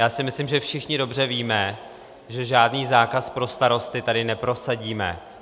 Já si myslím, že všichni dobře víme, že žádný zákaz pro starosty tady neprosadíme.